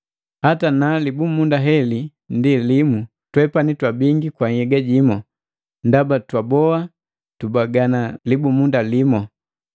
Hata na libumunda heli ndi limu, twepani twa bingi kwa nhyega jimu, ndaba twaboha tubagana libumunda limu.